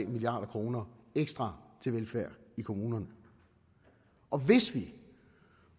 milliard kroner ekstra til velfærd i kommunerne og hvis vi